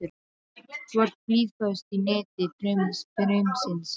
Þú ert blýföst í neti draumsins.